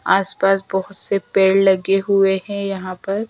आसपास बहोत से पेड़ लगे हुए हैं यहां पर।